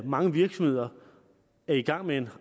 mange virksomheder er i gang med en